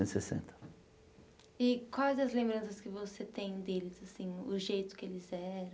e sessenta E quais as lembranças que você tem deles, assim, o jeito que eles eram